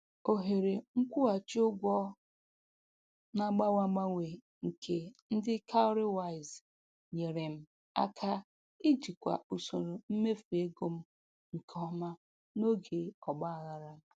Ohere nkwụghachi ụgwọ na-agbanwe agbanwe nke ndị "cowrywise" nyere m aka ijikwa usoro mmefu ego m nke ọma n'oge ọgbaghara.